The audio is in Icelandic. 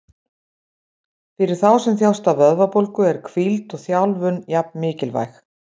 Fyrir þá sem þjást af vöðvabólgu eru hvíld og þjálfun jafn mikilvæg.